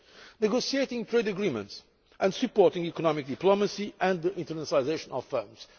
tape negotiating trade agreements and supporting economic diplomacy and the internationalisation of